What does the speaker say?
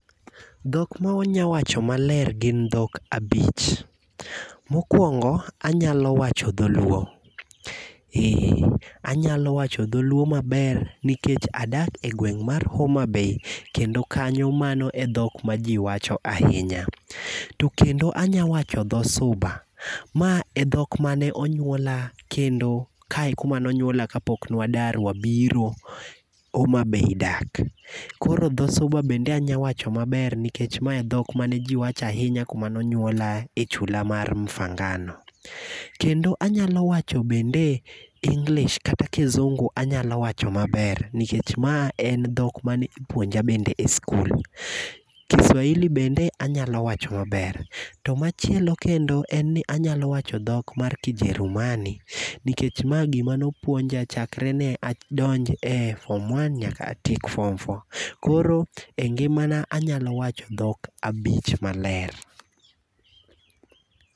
Dhok ma wanyawacho maler gin dhok abich. Mokwongo, anyalo wacho dholuo. Anyalo wacho dholuo maber nikech adak e gweng' mar Homabay kendo kanyo, mano en dhok ma ji wacho ahinya. To kendo anya wacho dhosuba. Ma e dhok mane onyuola kendo kae e kuma ne onywolae kapok nwadar wabiro Homabay dak. Koro dhosuba bende anya wacho maber nikech ma en dhok mane ji wacho ahinya kuam nonywola e chula mar Mfangano. Kendo anyalo wacho bende English kata kizungu anyalo wacho maber, nikech ma en dhok mane ipuonja bende e skul. Kiswahili bende anyalo wacho maber. To machielo kendo en ni anyalo wacho dhok mar kijerumani nikech ma gima nopuonja chakre ne adonj e form one nyaka atieko form four. Koro e ngimana anyalo wacho dhok abich maler.